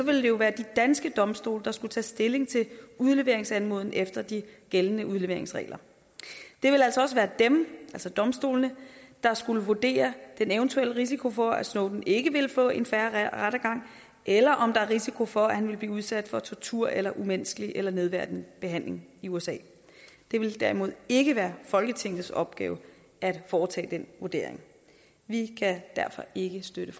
det jo være de danske domstole der skulle tage stilling til udleveringsanmodningen efter de gældende udleveringsregler det ville altså også være dem altså domstolene der skulle vurdere den eventuelle risiko for at snowden ikke ville få en fair rettergang eller om der var risiko for at han ville blive udsat for tortur eller umenneskelig eller nedværdigende behandling i usa det ville derimod ikke være folketingets opgave at foretage den vurdering vi kan derfor ikke støtte